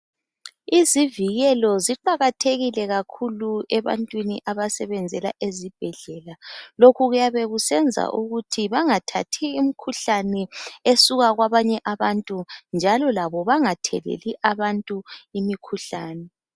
Izivikelo ziqakathekile kakhulu ebantwini abasebenzela ezibhedlela. Lokhu kuyabe kusenza ukuthi bangathathi imikhuhlane esuka kwabanye abantu njalo labo bangatheleli abantu imikhuhlane.